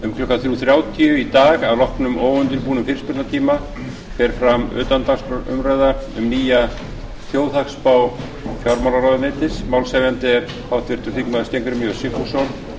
um klukkan þrjú þrjátíu í dag að loknum óundirbúnum fyrirspurnatíma fer fram utandagskrárumræða um nýja þjóðhagsspá fjármálaráðuneytis málshefjandi er háttvirtur þingmaður steingrímur j sigfússon